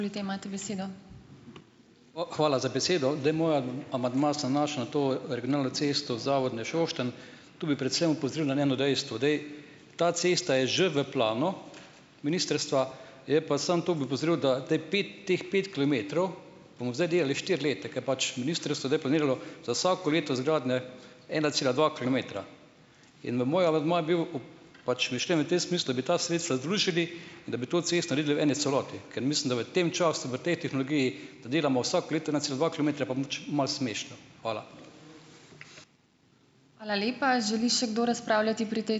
Hvala za besedo. Zdaj, moj amandma se nanaša na to regionalno cesto Zavodnje-Šoštanj. Tu bi predvsem opozoril na eno dejstvo. Zdaj, ta cesta je že v planu ministrstva, je pa samo, to bi opozoril, da zdaj pet teh, pet kilometrov bomo zdaj delali štiri leta, ker pač ministrstvo zdaj planiralo za vsako leto izgradnje ena cela dva kilometra. In moj amandma je bil pač če bi šli v tem smislu, bi ta sredstva združili, da bi to cesto naredili v eni celoti, ker mislim, da v tem času v tej tehnologiji, da delamo vsako leto ena cela dva kilometra pa malo smešno. Hvala.